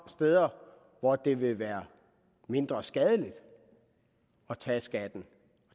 steder hvor det vil være mindre skadeligt at tage skatten